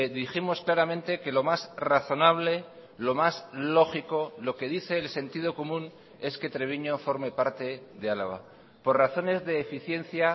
dijimos claramente que lo más razonable lo más lógico lo que dice el sentido común es que treviño forme parte de álava por razones de eficiencia